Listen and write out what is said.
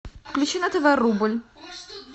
включи на тв рубль